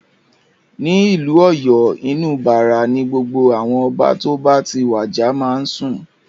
Ní ìlú Ọ̀yọ́, inú Bàrà ni gbogbo àwọn Ọba tó bá ti wàjà máa ń sùn.